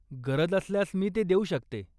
गरज असल्यास मी ते देऊ शकते.